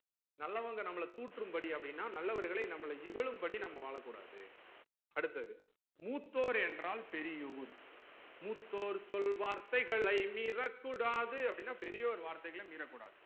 நல்லவங்க நம்மள தூற்றும் படி அப்டினா நல்லவர்களை நம்மள இகழும் படி நம்ம வாழக்கூடாது அடுத்தது மூத்தோர் என்றால் பெரியோர் மூத்தோர் சொல் வார்த்தைகளை மீறக்கூடாது அப்டினா பெரியோர் வார்த்தைகள் மீறக்கூடாது